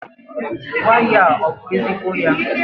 waya a ọ bụ ezigbo ya?